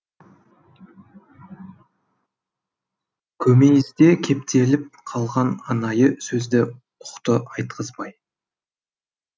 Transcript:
көмейісде кептеліп қалған анайы сөзді ұқты айтқызбай